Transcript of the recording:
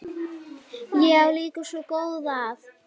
Ég á líka svo góða að.